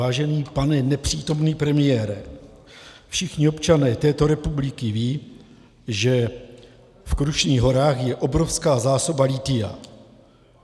Vážený pane nepřítomný premiére, všichni občané této republiky vědí, že v Krušných horách je obrovská zásoba lithia.